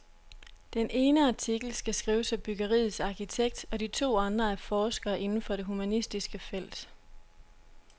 Den ene artikel skal skrives af byggeriets arkitekt og de to andre af forskere inden for det humanistiske felt.